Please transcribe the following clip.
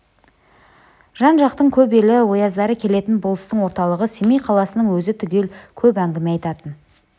жан-жақтың көп елі ояздары келетін болыстың орталығы семей қаласының өзі түгел көп әңгіме айтатын